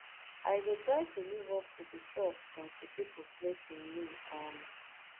i go try to live up to di trust kontri pipo place in me um